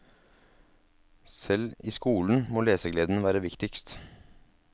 Selv i skolen må lesegleden være viktigst.